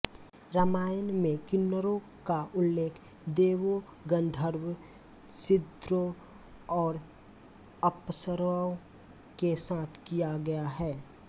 रामायण में किन्नरों का उल्लेख देवों गन्धर्वों सिद्धों और अप्सराओं के साथ किया गया है